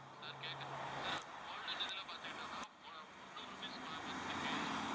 sir கேட்கல sir golden இதுல பாத்துக்கிட்டோம்னா மு~முந்நூறு rupees month க்கு